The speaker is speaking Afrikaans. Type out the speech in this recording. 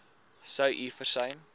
sou u versuim